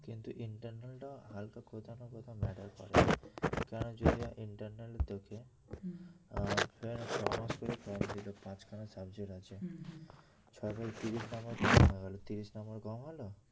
কিন্তু internal টা হালকা কোথাও না কোথাও matter করে কারণ যদি internal এ তোকে পাঁচ খানা subject আছে ছয় ছয় তিরিশ নাম্বার কম হয়ে গেল তিরিশ নাম্বার কম হল